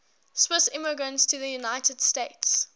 swiss immigrants to the united states